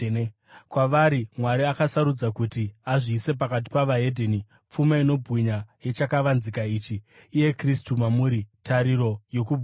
Kwavari, Mwari akasarudza kuti azivise pakati pavaHedheni, pfuma inobwinya yechakavanzika ichi, iye Kristu mamuri, tariro yokubwinya.